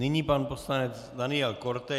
Nyní pan poslanec Daniel Korte.